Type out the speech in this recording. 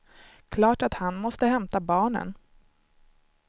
Klart att han måste hämta barnen.